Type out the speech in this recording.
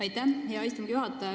Aitäh, hea istungi juhataja!